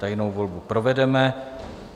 Tajnou volbu provedeme.